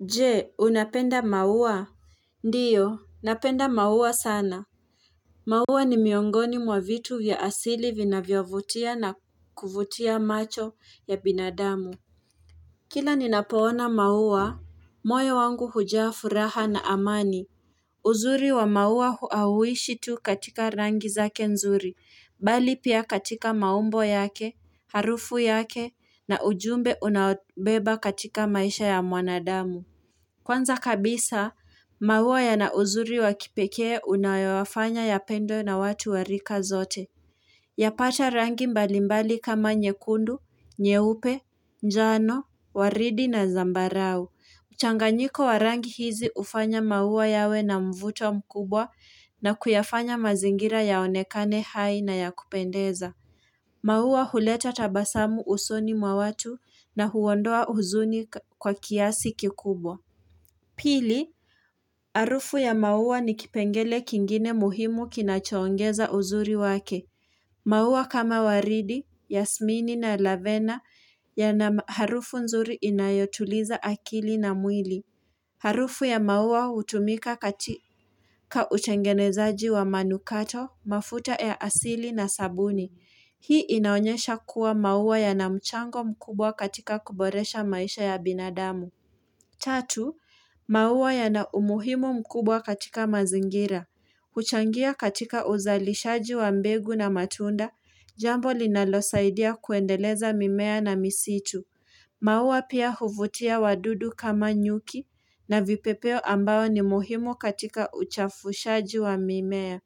Je, unapenda mauwa? Ndiyo napenda mauwa sana. Mauwa ni miongoni mwa vitu ya asili vinavyovutia na kuvutia macho ya binadamu. Kila ninapoona mauwa moyo wangu hujaa furaha na amani. Uzuri wa mauwa hauishi tu katika rangi zake nzuri. Bali pia katika maumbo yake harufu yake na ujumbe unaobeba katika maisha ya mwanadamu. Kwanza kabisa, maua ya na uzuri wakipekee unayo yafanya ya pendwe na watu warika zote. Yapacha rangi mbalimbali kama nyekundu, nyeupe, njano, waridi na zambarau. Mchanganyiko wa rangi hizi hufanya maua yawe na mvuto mkubwa na kuyafanya mazingira ya onekane hai na ya kupendeza. Maua huleta tabasamu usoni mwa watu na huondoa huzuni kwa kiasi kikubwa. Pili, harufu ya maua ni kipengele kingine muhimu kinachoongeza uzuri wake. Mauwa kama waridi, yasmini na lavena yana harufu nzuri inayotuliza akili na mwili. Harufu ya maua hutumika katika utengenezaji wa manukato, mafuta ya asili na sabuni. Hii inaonyesha kuwa maua yana mchango mkubwa katika kuboresha maisha ya binadamu. Tatu, maua yana umuhimu mkubwa katika mazingira. Huchangia katika uzalishaji wa mbegu na matunda, jambo linalosaidia kuendeleza mimea na misitu. Maua pia huvutia wadudu kama nyuki na vipepeo ambao ni muhimu katika uchafushaji wa mimea.